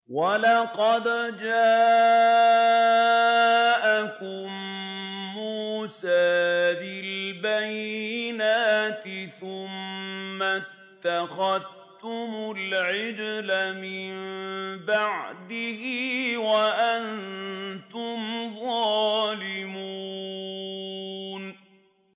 ۞ وَلَقَدْ جَاءَكُم مُّوسَىٰ بِالْبَيِّنَاتِ ثُمَّ اتَّخَذْتُمُ الْعِجْلَ مِن بَعْدِهِ وَأَنتُمْ ظَالِمُونَ